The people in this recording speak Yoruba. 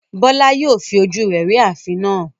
Bola yóò fi ojú rẹ̀ rí ààfin náà.